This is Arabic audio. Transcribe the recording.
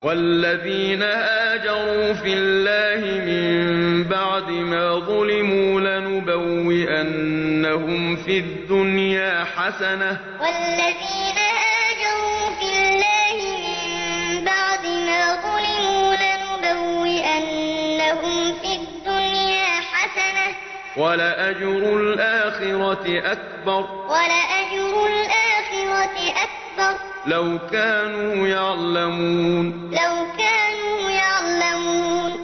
وَالَّذِينَ هَاجَرُوا فِي اللَّهِ مِن بَعْدِ مَا ظُلِمُوا لَنُبَوِّئَنَّهُمْ فِي الدُّنْيَا حَسَنَةً ۖ وَلَأَجْرُ الْآخِرَةِ أَكْبَرُ ۚ لَوْ كَانُوا يَعْلَمُونَ وَالَّذِينَ هَاجَرُوا فِي اللَّهِ مِن بَعْدِ مَا ظُلِمُوا لَنُبَوِّئَنَّهُمْ فِي الدُّنْيَا حَسَنَةً ۖ وَلَأَجْرُ الْآخِرَةِ أَكْبَرُ ۚ لَوْ كَانُوا يَعْلَمُونَ